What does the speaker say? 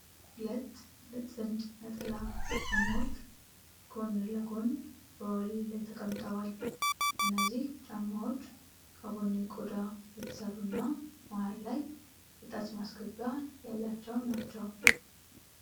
ሁለት ጥንድ ነጠላ ጫማዎች ጎን ለጎን በወለል ላይ ተቀምጠዋል። እነዚህ ጫማዎች ከቡኒ ቆዳ የተሰሩ እና መሃል ላይ የጣት ማስገቢያ ያላቸው ናቸው።